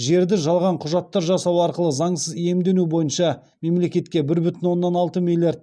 жерді жалған құжаттар жасау арқылы заңсыз иемдену бойынша мемлекетке бір бүтін оннан алты миллиард